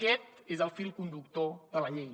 aquest és el fil conductor de la llei